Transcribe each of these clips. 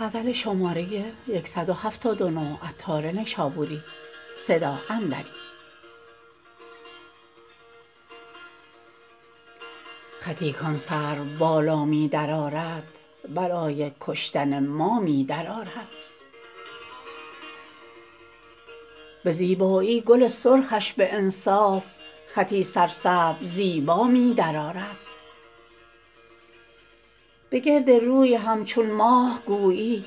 خطی کان سرو بالا می درآرد برای کشتن ما می درآرد به زیبایی گل سرخش به انصاف خطی سرسبز زیبا می درآرد بگرد روی همچون ماه گویی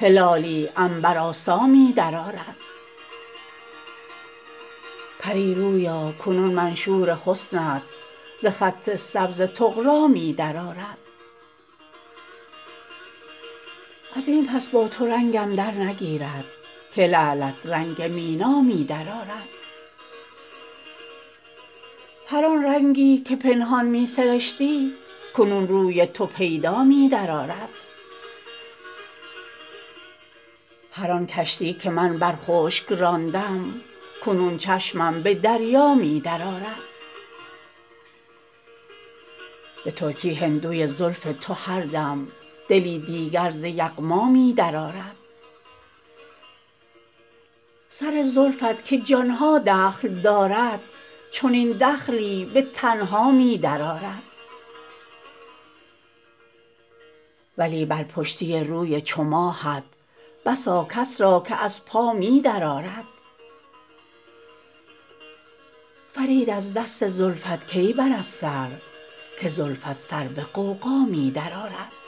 هلالی عنبرآسا می درآرد پری رویا کنون منشور حسنت ز خط سبز طغرا می درآرد ازین پس با تو رنگم در نگیرد که لعلت رنگ مینا می درآرد هر آن رنگی که پنهان می سرشتی کنون روی تو پیدا می درآرد هر آن کشتی که من بر خشک راندم کنون چشمم به دریا می درآرد به ترکی هندوی زلف تو هر دم دلی دیگر ز یغما می درآرد سر زلفت که جان ها دخل دارد چنین دخلی به تنها می درآرد ولی بر پشتی روی چو ماهت بسا کس را که از پا می درآرد فرید از دست زلفت کی برد سر که زلفت سر به غوغا می درآرد